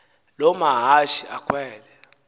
loo mahashe akhwele